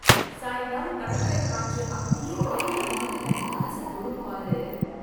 சாயங்காலம் கடற்கரை காற்று அப்படியே கவித மாதிரி நம்ம மனச தொடும் பாரு